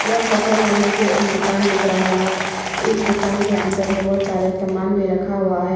यह फोटो में मुझे एक दुकान दिख रहा है इस दुकान के अंदर बहुत सारे सामान भी रखा हुआ है।